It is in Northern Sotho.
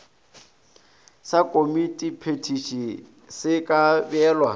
sa komitiphethiši se ka beelwa